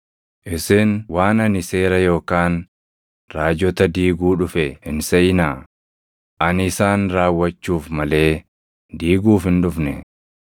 “Isin waan ani Seera yookaan Raajota diiguu dhufe hin seʼinaa; ani isaan raawwachuuf malee diiguuf hin dhufne.